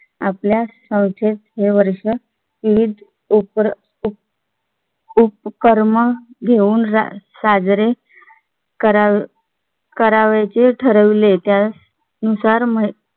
आपल्या संस्थेत हे वर्ष विविध उपक्रम उपक्रम घेऊन साजरे करावे करावयाचे ठरवले त्या नुसार